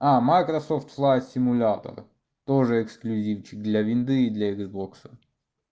а майкрософт флай симулятор тоже эксклюзив для винды и для иксбокса